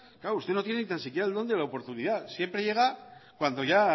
claro usted no tiene ni tan siquiera el don de la oportunidad siempre llega cuando ya